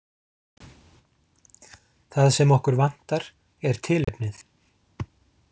Það sem okkur vantar er tilefnið.